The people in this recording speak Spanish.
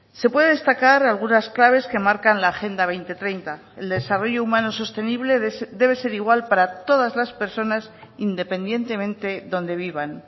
se puede destacar algunas claves que marcan la agenda dos mil treinta el desarrollo humano sostenible debe ser igual para todas las personas independientemente donde vivan